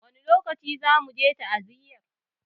Wani lokaci zamu je ta'aziyar?